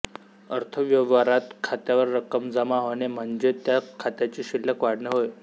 अर्थव्यवहारात खात्यावर रक्कम जमा होणे म्हणजे त्या खात्याची शिल्लक वाढणे होय